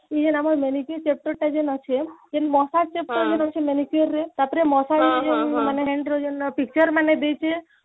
ଇଏ ଆମର manicure chapter ଟା ଯେନ ଅଛେ କିନ ମହା chapter ଯେଉ ରହୁଛେ manicure ରେ ତାପରେ ମହା ଇଏ ଯେଉଁ ହେଲା ମାନେ ଦେଇଛେ